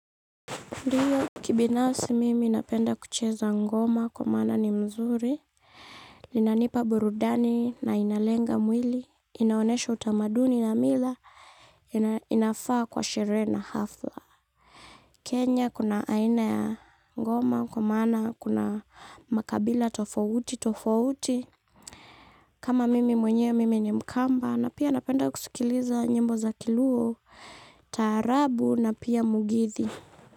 Ndio kibinasi mimi napenda kucheza ngoma kwa maana ni mzuri, linanipa burudani na inalenga mwili, inaonesha utamaduni na mila, inafaa kwa sherehe na hafla. Kenya kuna aina ya ngoma kwa maana kuna makabila tofauti, tofauti. Kama mimi mwenye mimi ni mkamba na pia napenda kusikiliza nyimbo za kiluo, taarabu na pia mugithi.